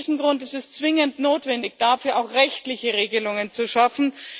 Aus diesem Grund ist es zwingend notwendig, dafür auch rechtliche Regelungen zu schaffen.